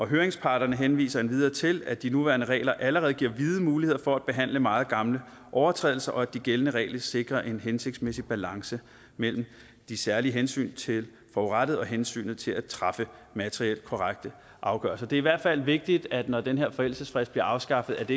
høringsparterne henviser endvidere til at de nuværende regler allerede giver vide muligheder for at behandle meget gamle overtrædelser og at de gældende regler sikrer en hensigtsmæssig balance mellem de særlige hensyn til forurettede og hensynet til at træffe materielt korrekte afgørelser det er i hvert fald vigtigt at det ikke når den her forældelsesfrist bliver afskaffet